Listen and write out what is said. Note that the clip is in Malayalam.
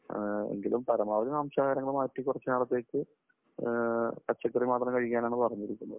എങ്കിലും പരമാവധി മാംസാഹാരങ്ങൾ മാറ്റി കുറച്ചുനാളത്തേക്ക് പച്ചക്കറി മാത്രം കഴിക്കാനാണ് പറഞ്ഞിരിക്കുന്നത്.